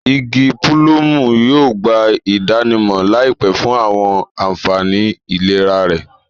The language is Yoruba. Igi pulumu yóò gba idanimọ laipẹ fun awọn anfani ilera rẹ